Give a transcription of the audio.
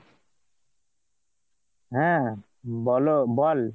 হ্যাঁ বলো বল,